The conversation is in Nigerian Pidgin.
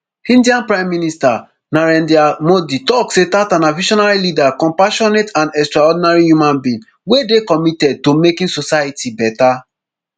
india prime minister narendra modi tok say tata na visionary leader compassionate and extraordinary human being wey dey committed to making society better